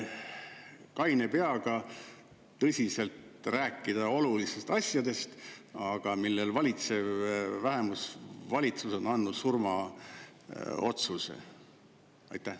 Kaine peaga tõsiselt räägime olulistest asjadest, aga valitsev vähemusvalitsus on surmaotsuse.